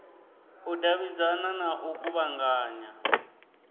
u davhidzana na u kuvhanganya